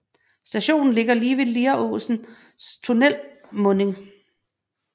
Stationen ligger lige ved Lieråsen tunnels munding